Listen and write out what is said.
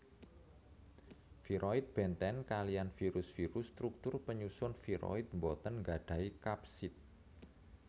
Viroid bèntén kaliyan virus virus struktur penyusun viroid boten gadahi kapsid